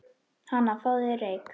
Hana, fáðu þér reyk